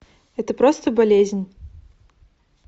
это просто болезнь